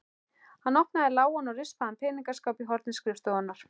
Hann opnaði lágan og rispaðan peningaskáp í horni skrifstofunnar.